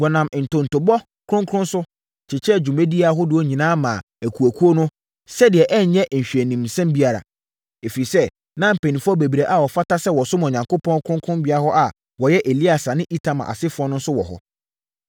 Wɔnam ntontobɔ kronkron so, kyekyɛɛ dwumadie ahodoɔ nyinaa maa akuakuo no, sɛdeɛ ɛrenyɛ nhwɛanimsɛm biara. Ɛfiri sɛ, na mpanimfoɔ bebree a wɔfata sɛ wɔsom Onyankopɔn kronkronbea hɔ a wɔyɛ Eleasa ne Itamar asefoɔ no nso wɔ hɔ.